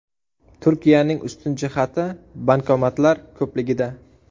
Turkiyaning ustun jihati bankomatlar ko‘pligida.